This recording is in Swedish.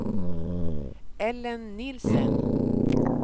Ellen Nielsen